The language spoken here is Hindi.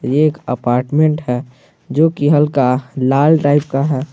एक अपार्टमेंट है जो की हल्का लाल टाइप का है।